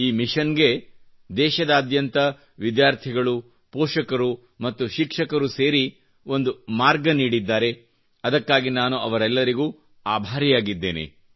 ಈ ಮಿಶನ್ ಅನ್ನು ದೇಶದಾದ್ಯಂತ ವಿದ್ಯಾರ್ಥಿಗಳು ಪೋಷಕರು ಮತ್ತು ಶಿಕ್ಷಕರು ಸೇರಿ ಒಂದು ಮಾರ್ಗ ನೀಡಿದ್ದಾರೆ ಅದಕ್ಕಾಗಿ ನಾನು ಅವರೆಲ್ಲರಿಗೆ ಆಭಾರಿಯಾಗಿದ್ದೇನೆ